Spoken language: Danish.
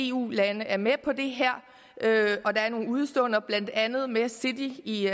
eu lande er med på det her og der er nogle udeståender blandt andet med city i